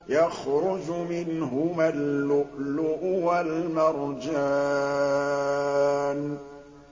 يَخْرُجُ مِنْهُمَا اللُّؤْلُؤُ وَالْمَرْجَانُ